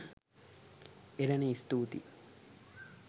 එලනේ ස්තුතියි